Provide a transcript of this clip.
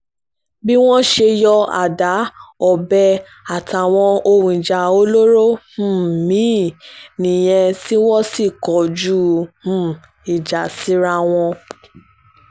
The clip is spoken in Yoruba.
bí wọ́n ṣe yọ àda ọbẹ̀ àtàwọn ohun ìjà olóró um mì-ín nìyẹn tí wọ́n sì kọjú um ìjà síra wọn